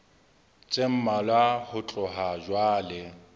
tse mmalwa ho tloha jwale